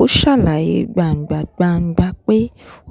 ó ṣàlàyé gbangba-gbàngba pé